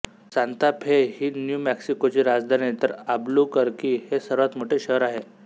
Santa Fe ही New मेक्सिकोची राजधानी तर आल्बुकर्की हे सर्वात मोठे शहर आहे